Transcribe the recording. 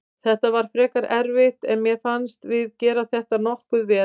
Þetta var frekar erfitt en mér fannst við gera þetta nokkuð vel.